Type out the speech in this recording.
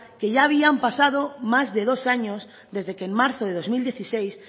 que ya habían pasado más de dos años desde que en marzo de dos mil dieciséis